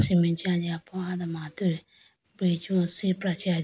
cement chee aji poya doma atu bridge sipra chee aji.